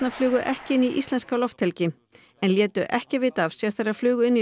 flugu ekki inn í íslenska lofthelgi en létu ekki vita af sér þegar þær flugu inn í